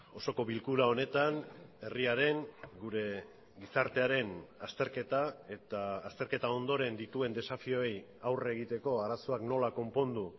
osoko bilkura honetan herriaren gure gizartearen azterketa eta azterketa ondoren dituen desafioei aurre egiteko arazoak nola konpondu